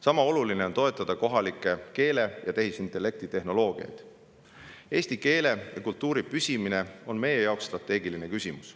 Sama oluline on toetada kohalikku keele- ja tehisintellektitehnoloogiat, sest eesti keele ja kultuuri püsimine on meie jaoks strateegiline küsimus.